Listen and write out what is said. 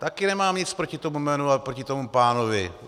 Také nemám nic proti tomu jménu a proti tomu pánovi.